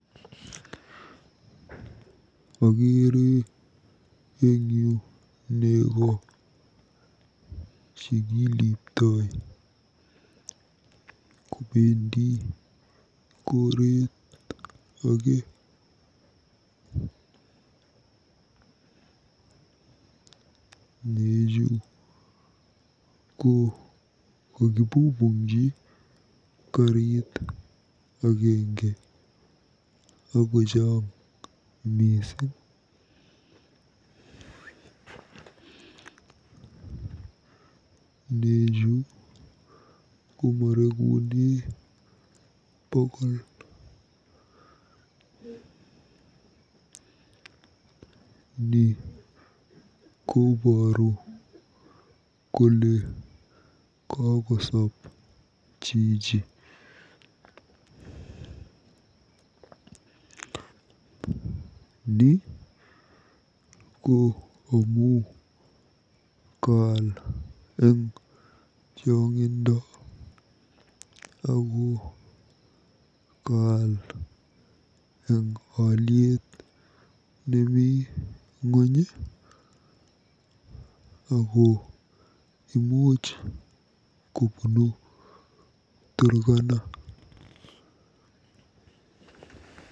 Okeere eng yu nego chekiliptoi kobendi koreet age. Nechu ko kakipupungji karit agenge akochang mising. Nechu komarekune bokol. Ni kobooru kole kokosop chichi. Ni ko amu kaal eng chong'indo ako kaal eng olyet nemi ng'ony ako imuuchu kobunu Turkana'